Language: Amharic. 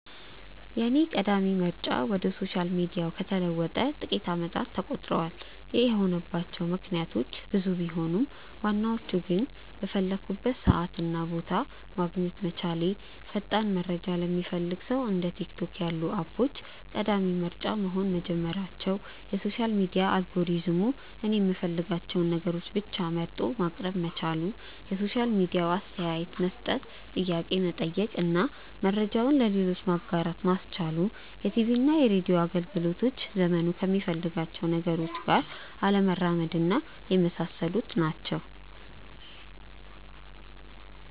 የኔ ቀዳሚ ምርጫ ወደ ሶሻል ሚዲያው ከተለወጠ ጥቂት አመታት ተቆጥረዋል። ይህ የሆነባቸው ምክንያቶች ብዙ ቢሆኑም ዋናዎቹ ግን:- በፈለኩበት ሰዓት እና ቦታ ማግኘት መቻሌ፣ ፈጣን መረጃ ለሚፈልግ ሰው እንደ ቲክቶክ ያሉ አፖች ቀዳሚ ምርጫ መሆን መጀመራቸው፣ የሶሻል ሚዲያ አልጎሪዝሙ እኔ የምፈልጋቸውን ነገሮች ብቻ መርጦ ማቅረብ መቻሉ፣ የሶሻል ሚዲያው አስተያየት መስጠት፣ ጥያቄ መጠየቅ እና መረጃውን ለሌሎች ማጋራት ማስቻሉ፣ የቲቪና ሬድዮ አገልግሎቶች ዘመኑ ከሚፈልጋቸው ነገሮች ጋር አለመራመድና የመሳሰሉት ናቸው።